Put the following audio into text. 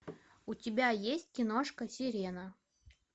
у тебя есть киношка сирена